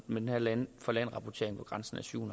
med den her land for land rapportering hvor grænsen er syv